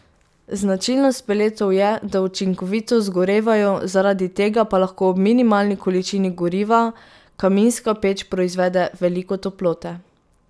Značilnost peletov je, da učinkovito zgorevajo, zaradi tega pa lahko ob minimalni količini goriva kaminska peč proizvede veliko toplote.